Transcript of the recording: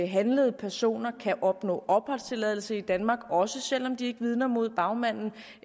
handlede personer kan opnå opholdstilladelse i danmark også selv om de ikke vidner mod bagmanden